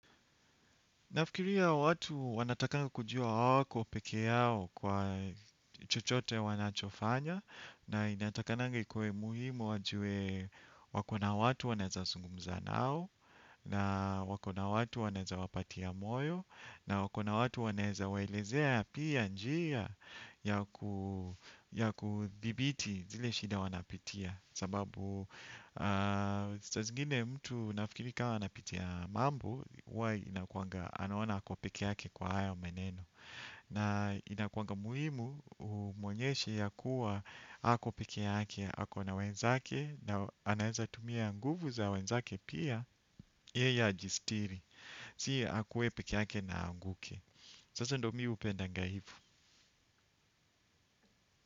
Nafikiria watu wanatakanga kujua hawako peke yao kwa chochote wanachofanya na inatakanaga ikue muhimu wajue wakona watu wanaeza zungumza nao na wakona watu wanaeza wapatia moyo na wakona watu wanaeza waelezea pia njia ya ku ya kudhibiti zile shida wanapitia sababu sa zingine mtu nafikiri kama anapitia mambo huwa inakuanga anaona ako peke yake kwa haya meneno na inakuanga muhimu umuonyeshe ya kuwa hako peke yake ako na wenzake na anaeza tumia nguvu za wenzake pia yeye ajistiri si akuwe peke yake na aanguke. Sasa ndo mihupendanga hivo.